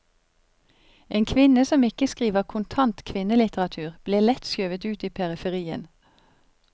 En kvinne som ikke skriver kontant kvinnelitteratur, blir lett skjøvet ut i periferien.